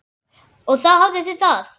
Og þá hafiði það!